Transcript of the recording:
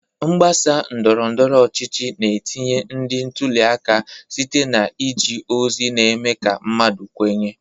Mgbasa ndọrọ ndọrọ ọchịchị na-etinye ndị ntuli aka site na iji ozi na-eme ka mmadụ kwenye.